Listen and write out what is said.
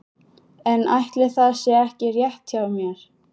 En ætli það sé ekki rétt hjá mér.